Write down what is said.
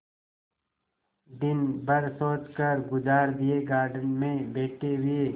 दिन भर सोचकर गुजार दिएगार्डन में बैठे हुए